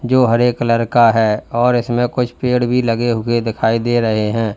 जो हरे कलर का है और इसमें कुछ पेड़ भी लगे हुए दिखाई दे रहे हैं।